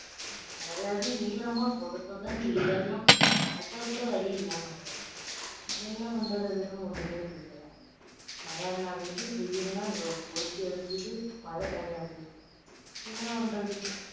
அது அது ஈரமா சொத சொதன்னு வீடெல்லாம் நடக்கக்கூட வழி இல்லாம கிடக்கு என்ன பண்றதுன்னு ஒண்ணுமே புரியல மழைன்னா வெயில் வெயில்னா கொளுத்தி எடுக்குது மழை தனியா போகுது என்ன பண்றது